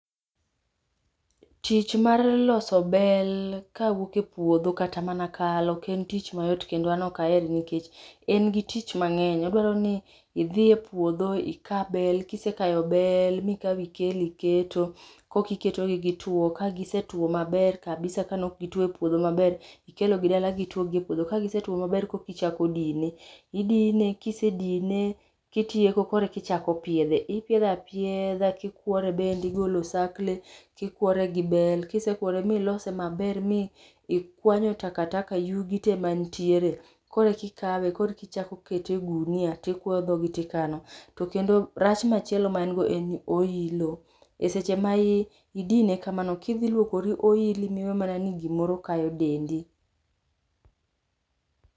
Tich mar loso bel, kawuok e puodho kata mana kal oken tich mayot kendo an oka ahere nikech en gi tich mangeny. Odwaroni idhi e puodho ika bel, kisekayo bel mikao ikelo iketo koka iketogi gituo, ka gisetuo maber kabisa kane ok gituo e puodho maber ikelogi dala gituo gi e puodho kagisetuo maber korka ichako dine. Idine ka isedine kitieko korka ichak piedhe, ipidho apiedha kikuore bende, igolo osakle, ikuore gi bel, kisekuore miselose maber mi ikwanyo takataka yugi tee mantiere, korka ikawe korka ichako ikete e gunia tikuoyo dhoge tikano. To kendo rach machielo ma en godo ni oilo, e seche ma idine kamano kidhi luokore olili miwe mana ni gimoro kayo dendi